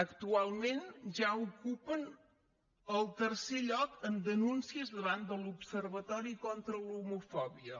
actualment ja ocupen el tercer lloc en denúncies davant de l’observatori contra l’homofòbia